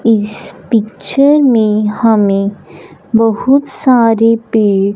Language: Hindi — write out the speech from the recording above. इस पिक्चर में हमें बहुत सारे पेड़--